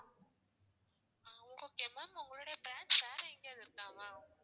ஆஹ் okay ma'am உங்களுடைய branch வேற எங்கேயாவது இருக்கா ma'am